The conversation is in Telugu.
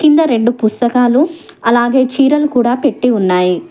కింద రెండు పుస్తకాలు అలాగే చీరలు కూడా పెట్టి ఉన్నాయి.